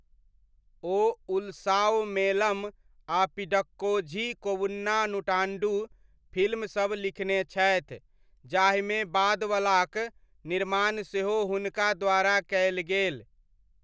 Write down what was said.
ओ उल्सावमेलम आ पिडक्कोझी कोवुन्ना नूटाण्डु फिल्मसब लिखने छथि, जाहिमे बादवलाक निर्माण सेहो हुनका द्वारा कयल गेल।